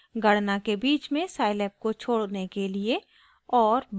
गणना के बीच में scilab को छोड़ने के लिए और